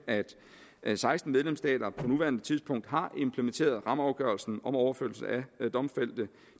at seksten medlemsstater på nuværende tidspunkt har implementeret rammeafgørelsen om overførsel af domfældte